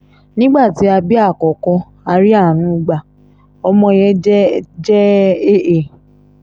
nígbà tí a bí àkókò a rí àánú gba ọmọ yẹn jẹ́ jẹ́ aa